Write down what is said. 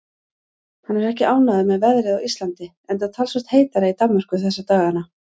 Hann er ekki ánægður með veðrið á Íslandi enda talsvert heitara í Danmörku þessa dagana.